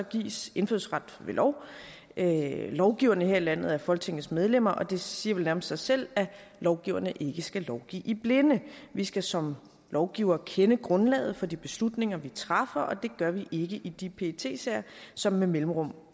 gives indfødsret ved lov lovgiverne her i landet er folketingets medlemmer og det siger vel nærmest sig selv at lovgiverne ikke skal lovgive i blinde vi skal som lovgivere kende grundlaget for de beslutninger vi træffer og det gør vi ikke i de pet sager som med mellemrum